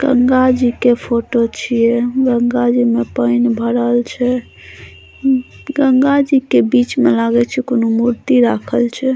गंगा जी के फोटो छीये गंगा जी मे पैन भरल छै गंगा जी के बीच मे लागय छै कोनो मूर्ति राखल छै।